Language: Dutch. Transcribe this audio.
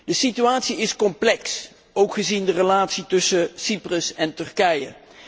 De situatie is complex, ook gezien de relatie tussen Cyprus en Turkije.